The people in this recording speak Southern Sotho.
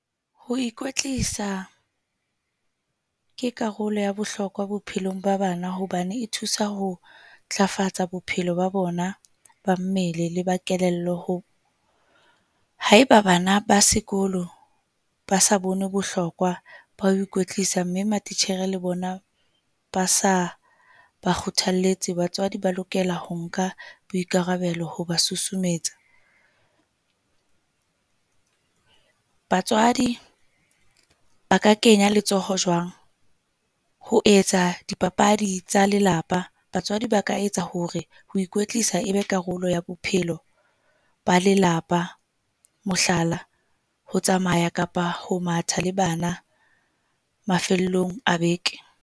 Ho ikwetlisa ke karolo ya bohlokwa bophelong ba bana hobane e thusa ho ntlafatsa bophelo ba bona ba mmele le ba kelello ho. Haeba bana ba sekolo ba sa bone bohlokwa ba ho ikwetlisa mme matitjhere le bona ba sa ba kgothalletse. Batswadi ba lokela ho nka boikarabelo ho ba susumetsa. Batswadi ba ka kenya letsoho jwang ho etsa dipapadi tsa lelapa batswadi ba ka etsa hore ho ikwetlisa e be karolo ya bophelo ba lelapa. Mohlala, ho tsamaya kapa ho matha le bana mafellong a beke.